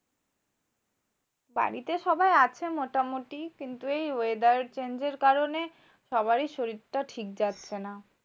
বাড়িতে সবাই আছে মোটামুটি। কিন্তু এই weather change এর কারণে সবারই শরীরটা ঠিক যাচ্ছে না।